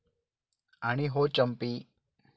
आणि हो चंपी.